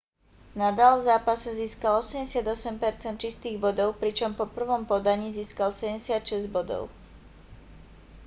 nadal v zápase získal 88 % čistých bodov pričom po prvom podaní získal 76 bodov